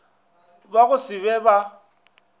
ba go se be ba